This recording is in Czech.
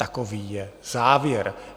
Takový je závěr.